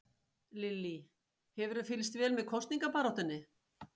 Lillý: Hefurðu fylgst vel með kosningabaráttunni?